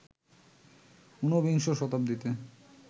ঊনবিংশ শতাব্দীতে